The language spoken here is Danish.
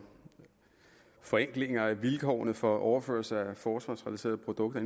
forenklinger af vilkårene for overførsel af forsvarsrelaterede produkter